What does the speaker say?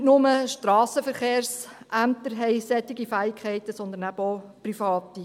Nicht nur Strassenverkehrsämter haben solche Fähigkeiten, sondern eben auch Private.